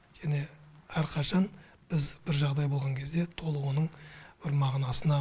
және әрқашан біз бір жағдай болған кезде толық оның бір мағынасына